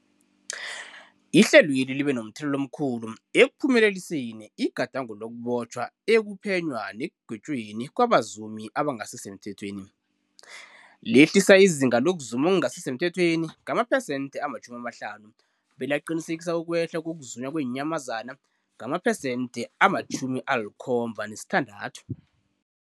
Ihlelweli libe momthelela omkhulu ekuphumeleliseni igadango lokubotjhwa, ukuphenywa nekugwetjweni kwabazumi abangasisemthethweni, lehlisa izinga lokuzuma okungasi semthethweni ngamaphesenthe-50, belaqinisekisa ukwehla kokuzunywa kweenyamazana ngamaphesenthe-76.